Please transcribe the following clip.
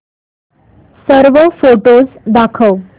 सर्व फोटोझ दाखव